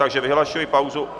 Takže vyhlašuji pauzu...